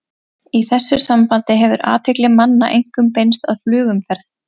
Í þessu sambandi hefur athygli manna einkum beinst að flugumferð.